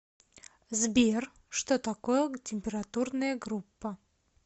сбер что такое температурная группа